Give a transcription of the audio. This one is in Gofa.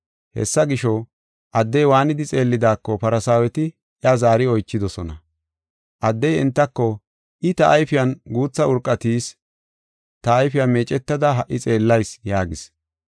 Hessa gisho, addey waanidi xeellidaako Farsaaweti iya zaari oychidosona. Addey entako, “I ta ayfiyan guutha urqa tiyis. Ta ayfiya meecetada ha77i xeellayis” yaagis.